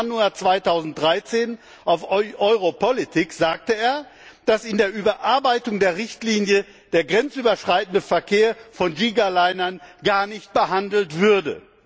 11. Januar 2013 auf Europolitics sagte er, dass in der Überarbeitung der Richtlinie der grenzüberschreitende Verkehr von Gigalinern gar nicht behandelt würde.